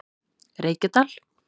Reykjadal